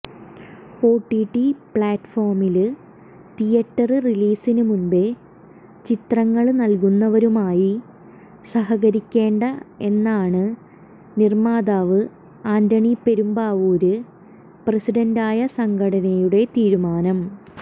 OTT പ്ലാറ്റ്ഫോമില് theatre റിലീസിന് മുമ്പേ ചിത്രങ്ങള് നല്കുന്നവരുമായി സഹകരിക്കേണ്ട എന്നാണ് നിര്മ്മാതാവ് ആന്റണി പെരുമ്പാവൂര് പ്രസിഡന്റായ സംഘടനയുടെ തീരുമാനം